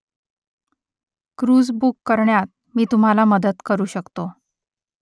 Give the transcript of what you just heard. cruise book करण्यात मी तुम्हाला मदत करू शकतो